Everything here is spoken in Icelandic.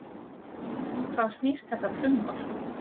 Um hvað snýst þetta frumvarp?